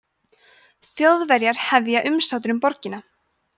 þjóðverjar hefja umsátur um borgina